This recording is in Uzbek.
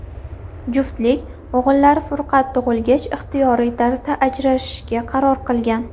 Juftlik o‘g‘illari Furqat tug‘ilgach ixtiyoriy tarzda ajrashishga qaror qilgan.